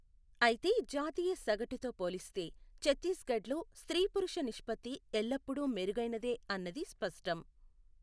అయితే జాతీయ సగటుతో పోలిస్తే ఛత్తీస్గఢ్లో స్త్రీ పురుష నిష్పత్తి ఎల్లప్పుడూ మెరుగైనదే అన్నది స్పష్టం.